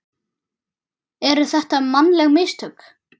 Eru þetta mannleg mistök?